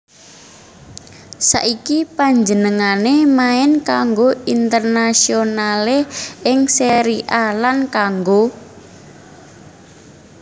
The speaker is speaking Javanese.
Saiki panjenengané main kanggo Internazionale ing Serie A lan kanggo